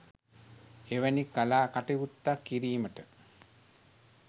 එවැනි කලා කටයුත්තක් කිරීමට